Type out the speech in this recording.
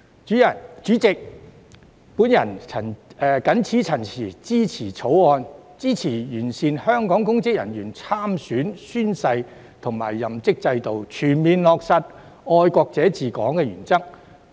代理主席，我謹此陳辭，支持《條例草案》，支持完善香港公職人員參選、宣誓及任職制度，全面落實"愛國者治港"的原則，